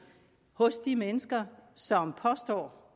hos de mennesker som påstår